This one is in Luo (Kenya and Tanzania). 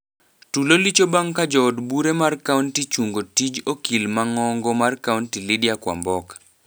Tulo licho bang ka jood bure mar kaunti chungo tij okil mang'ong'o mar kaunti Lydia Kwamboka.